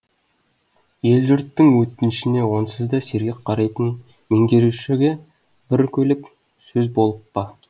ел жұрттың өтінішіне онсыз да сергек қарайтын меңгерушіге бір көлік сөз болып па